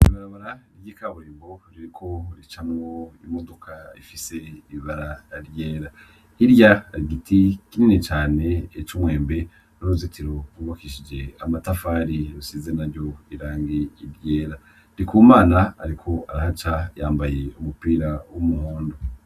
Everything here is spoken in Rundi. Ibarabara ry’ikaburimbo ririko ricamwo Imodoka ifise ibara ryera . Hirya hari igiti kinini cane c’umwembe n’uruzitiro rwubakishije amatafari rusize naryo irangi ryera . Ndikumana ariko arahaca yambaye umupira w’umuhondo.